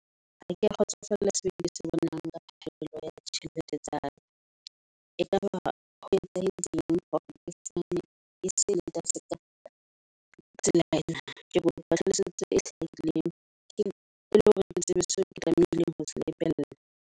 Ha ke a kgotsofalla seo ke se bonang ka phallo ya di tjhelete tsaka. E kaba ho etsahetse eng hore ke sane , Ka tsela ena ke kopa tlhalosetso e hlahileng. Ke e leng hore ke tsebe seo ke tlamehileng ho se lebella.